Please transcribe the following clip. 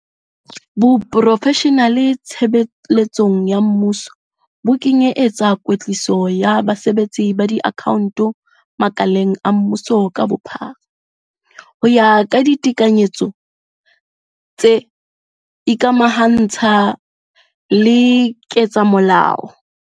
Boprofeshenale tshebe letsong ya mmuso bo kenye etsa kwetliso ya basebetsi ba diakhaonto makaleng a mmuso ka bophara ho ya ka ditekanyetso tse ikamaha ntsha le ketsamolao.